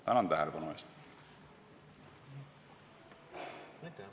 Tänan tähelepanu eest!